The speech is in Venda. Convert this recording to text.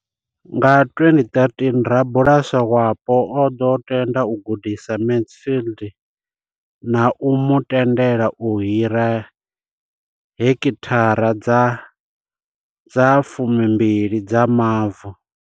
Nga 2013, rabulasi wapo o ḓo tenda u gudisa Mansfield na u mu tendela u hira heki thara dza 12 dza mavu.